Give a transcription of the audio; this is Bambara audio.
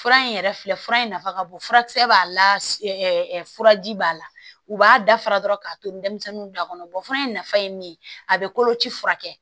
Fura in yɛrɛ filɛ in nafa ka bon furakisɛ b'a la furaji b'a la u b'a dafara dɔrɔn k'a to denmisɛnninw b'a kɔnɔ fura in nafa ye min ye a bɛ koloci furakɛ